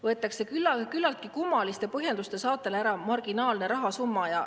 … võetakse küllaltki kummaliste põhjenduste saatel ära marginaalne rahasumma.